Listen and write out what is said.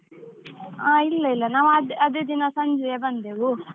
ಹಾ, ಇಲ್ಲ ಇಲ್ಲ ನಾವು ಅದೇ ಅದೇ ದಿನ ಸಂಜೆ ಬಂದೆವು.